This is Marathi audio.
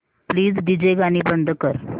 प्लीज डीजे गाणी बंद कर